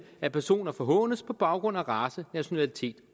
at personer forhånes på baggrund af race nationalitet